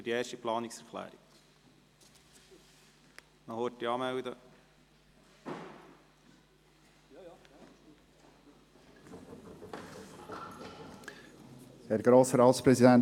Der Regierungsrat schlägt dem Grossen Rat gesetzliche Grundlagen vor und/oder erlässt die nötigen Rechtssätze auf Verordnungsstufe, damit die heutigen systembedingten Fehlanreize im FILAG bei der Auszahlung von Zentrumslasten beseitigt werden.